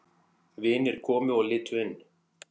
Vinir komu og litu inn.